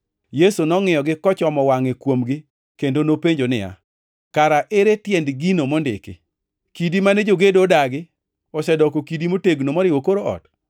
Yesu nongʼiyogi kochomo wangʼe kuomgi kendo nopenjo niya, “Kara ere tiend gino mondiki: “ ‘Kidi mane jogedo odagi osedoko kidi motegno moriwo kor ot.’ + 20:17 \+xt Zab 118:22\+xt*